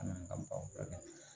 A n'an ka baw